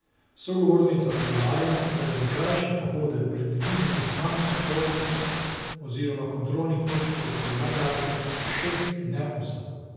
Sogovornica poudarja, da je za krajše pohode predvidenih manj vstopnih oziroma kontrolnih točk kot pri najdaljši, šest in ne osem.